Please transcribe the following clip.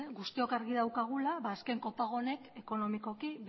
guztiok argi daukagula azken kopago honek ekonomikoki